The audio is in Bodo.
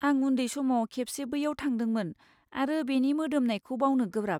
आं उन्दै समाव खेबसे बैयाव थादोंमोन आरो बेनि मोदोमनायखौ बावनो गोब्राब।